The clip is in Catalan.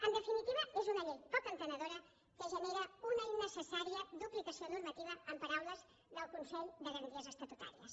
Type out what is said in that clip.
en definitiva és una llei poc entenedora que genera una innecessària duplicació normativa en paraules del consell de garanties estatutàries